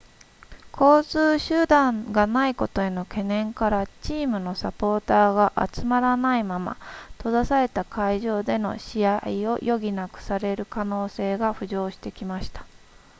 交通手段がないことへの懸念からチームのサポーターが集まらないまま閉ざされた会場での試合を余儀なくされる可能性が浮上してきました